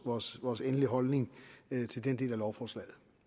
vores vores endelige holdning til den del af lovforslaget